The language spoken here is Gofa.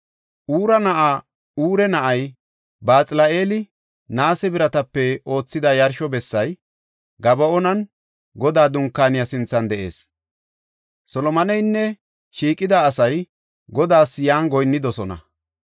Huura na7aa Ure na7ay Baxal7eeli naase biratape oothida yarsho bessay, Gaba7oonan Godaa Dunkaaniya sinthan de7ees. Solomoneynne shiiqida asay Godaas yan goyinnidosona.